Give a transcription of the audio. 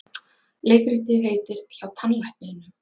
Leikritið heitir HJÁ TANNLÆKNINUM.